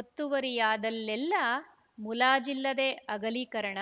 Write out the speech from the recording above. ಒತ್ತುವರಿಯಾದಲ್ಲೆಲ್ಲ ಮುಲಾಜಿಲ್ಲದೆ ಅಗಲೀಕರಣ